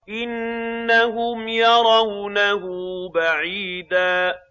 إِنَّهُمْ يَرَوْنَهُ بَعِيدًا